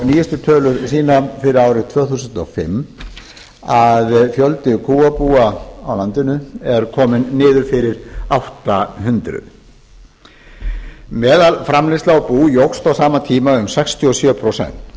nýjustu tölur sýna fyrir árið tvö þúsund og fimm að fjöldi kúabúa á landinu er kominn niður fyrir átta hundruð meðalframleiðsla á bú jókst á sama tíma um sextíu og sjö prósent